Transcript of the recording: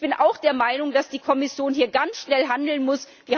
Und ich bin auch der Meinung, dass die Kommission hier ganz schnell handeln muss.